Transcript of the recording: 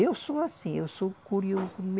Eu sou assim, eu sou curioso.